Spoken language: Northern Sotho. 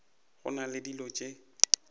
go na le dilo tše